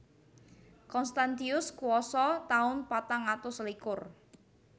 Constantius kuwasa taun patang atus selikur